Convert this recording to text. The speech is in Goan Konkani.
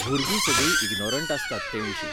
भुरगीं सगळीं इगनोरंट आसतात ते विशीं.